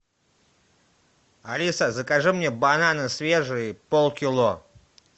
алиса закажи мне бананы свежие полкило